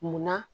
Munna